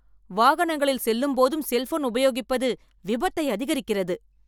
வாகனங்களில் செல்லும் போதும் செல்போன் உபயோகிப்பது விபத்தை அதிகரிக்கிறது.